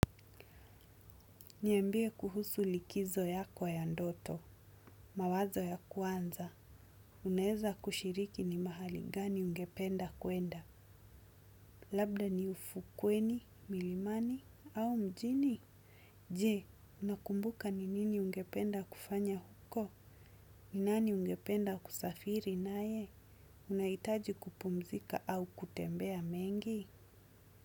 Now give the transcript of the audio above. Niambie kuhusu likizo yako ya ndoto, mawazo ya kwanza. Unaeza kushiriki ni mahali gani ungependa kuenda, labda ni ufukweni, milimani, au mjini. Je, unakumbuka ni nini ungependa kufanya huko? Ni nani ungependa kusafiri na ye? Unaitaji kupumzika au kutembea mengi?